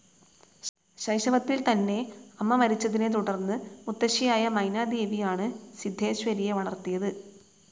ശൈശവത്തിൽ തന്നെ അമ്മ മരിച്ചതിനെ തുടർന്ന് മുത്തശ്ശിയായ മൈനാദേവിയാണ് സിദ്ധേശ്വരിയെ വളർത്തിയത്.